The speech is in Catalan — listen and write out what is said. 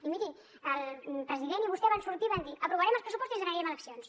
i miri el president i vostè van sortir i van dir aprovarem els pressupostos i ens n’anirem a eleccions